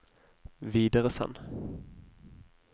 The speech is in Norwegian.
videresend